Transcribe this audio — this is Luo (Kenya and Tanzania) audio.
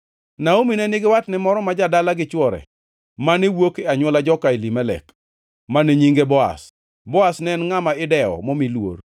Naomi ne nigi watne moro ma jadala gi chwore, mane wuok e anywola joka Elimelek, mane nyinge Boaz. Boaz ne en ngʼama idewo momi luor.